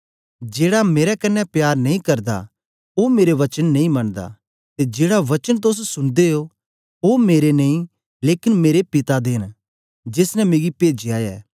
जेड़ा मेरे कन्ने प्यार नेई करदा ओ मेरे वचन नेई मनदा ते जेड़ा वचन तोस सुनदे ओ ओ मेरे नेई लेकन मेरे पिता दा ऐ जेस ने मिगी भेजया ऐ